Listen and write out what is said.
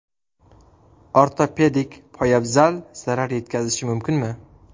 Ortopedik poyabzal zarar yetkazishi mumkinmi?